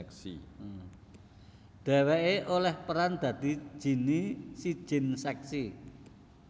Dheweké olih peran dadi Ginnie si jin seksi